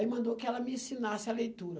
Aí mandou que ela me ensinasse a leitura.